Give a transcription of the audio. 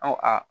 An ko a